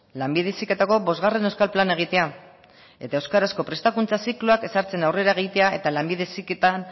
lanbide heziketako bosgarren euskal plana egitea eta euskarazko prestakuntza zikloak ezartzen aurrera egitea eta lanbide heziketan